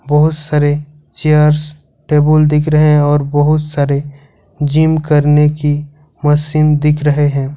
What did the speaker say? बहोत सारे chairs table दिख रहे हैं और बहुत सारे जिम करने की मशीन दिख रहे हैं।